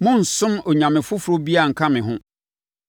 “Monnsom onyame foforɔ biara nka me ho.